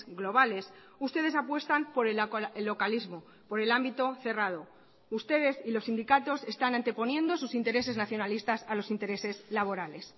globales ustedes apuestan por el localismo por el ámbito cerrado ustedes y los sindicatos están anteponiendo sus intereses nacionalistas a los intereses laborales